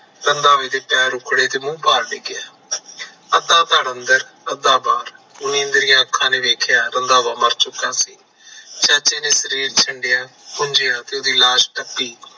ਰੰਧਾਵੇ ਦੇ ਪੈਰ ਉਖੜੇ ਤੇ ਮੂੰਹ ਭਾਰ ਡਿੱਗਿਆ ਅੱਧਾ ਧਰ ਅੰਦਰ ਤੇ ਅੱਧਾ ਬਾਹਰ ਚੰਦਰੀਆਂ ਅੱਖਾਂ ਨੇ ਵੇਖਿਆ ਰੰਧਾਵਾ ਮਰ ਚੁੱਕਾ ਸੀ ਉਹਦੀ ਲਾਸ਼ ਤੱਤੀ